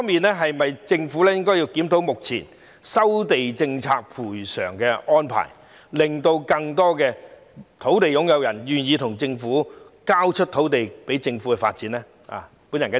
就此，政府是否應檢討目前收地政策的賠償安排，令更多土地擁有人願意交出土地予政府發展？